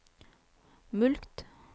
mulkt